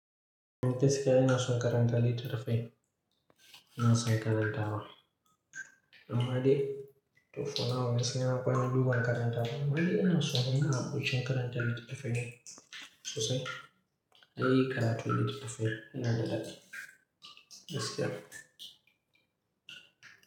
Mene gaskiya ina son karanta littafi, yana son karanta wa. Amma dai fo naw ne sai yana kwana duba karanta ba. Amma dai ina so, yana buci karanta littafin sosai. Ai karatu littafin yana da dadi. Gaskiya.